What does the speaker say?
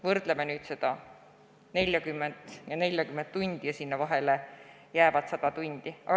Võrdleme nüüd seda 40 tundi ja 40 tundi ning nende vahele jäävat 100 tundi.